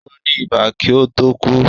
Ó ní ibà kí ó tó kú